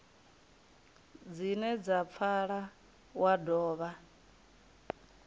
dzine dza pfala wa dovha